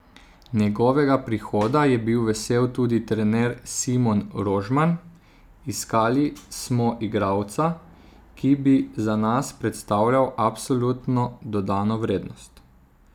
Njegovega prihoda je bil vesel tudi trener Simon Rožman: "Iskali smo igralca, ki bi za nas predstavljal absolutno dodano vrednost.